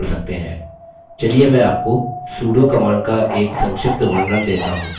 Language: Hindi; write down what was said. चलिए मैं आपको sudo command का एक संक्षिप्त वर्णन let हूँ